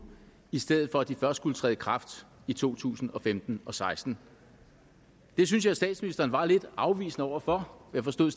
i stedet for at de først skulle træde i kraft i to tusind og femten og seksten det synes jeg statsministeren var lidt afvisende over for jeg forstod